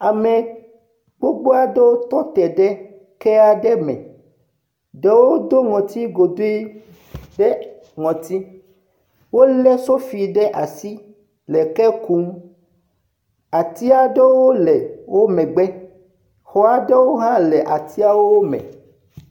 Ame gbogbo aɖewo tɔ te ɖe ke aɖe me, ɖewo do nɔtsi godoe ɖe notsi, wolé sofi ɖe asi, le ke kum, ati aɖewo le wo megbe, xɔ aɖewo hã le atia me.